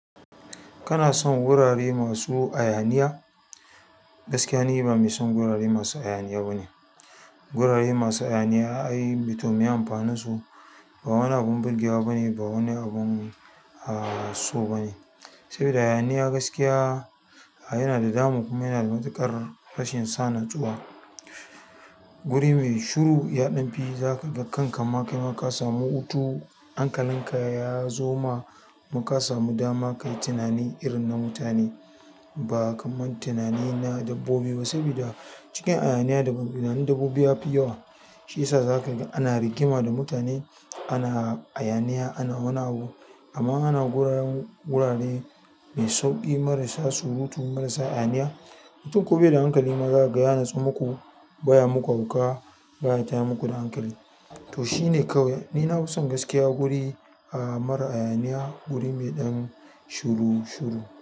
Kana son wurare masu hayaniya? Gaskiya ni ba mai son gurare masu hayaniya bane, gurare masu hayaniya ai to miye amfanin su? Ba wani abun burgewa bane, ba wani abun a so bane. Saboda hayaniya gaskiya yana da damu kuma yanada matuƙar rashin sa natsuwa. Guri mai shuru ya ɗan fi. Zakaga kanka ma kaima ka samu hutu. Hankalinka yazo ma, kuma ka samu dama kayi tunani irin na mutane ba kamar tunani na dabbobi ba. Saboda cikin hayaniya tunanin dabbobi ya fi yawa. Shi yasa za ka ga ana rigima da mutane, ana hayaniya, ana wani abu amma ana gurin gurare mai sauƙi marasa surutu marasa ayaniya. Mutum ko baida hankali ma zakaga ya natsu muku, baya muku hauka, baya tayar muku da hankali. To shine kawai. Ni nafi son gaskiya guri mara hayaniya, wuri mai ɗan shuru-shuru.